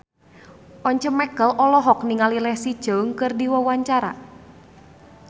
Once Mekel olohok ningali Leslie Cheung keur diwawancara